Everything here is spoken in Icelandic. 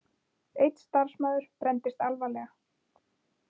Einn starfsmaður brenndist alvarlega